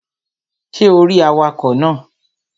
Ṣé o rí awakọ̀ náà?